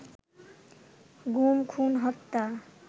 গুম, খুন, হত্যা